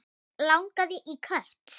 Mig langaði í kött.